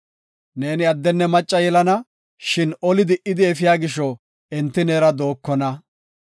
Ne addenne macca yelana, shin oli di77idi efiya gisho enti neera dookona.